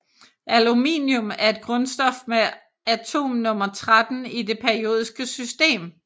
Aluminium er et grundstof med atomnummer 13 i det periodiske system